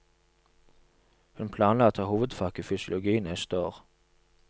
Hun planla å ta hovedfag i fysiologi neste år.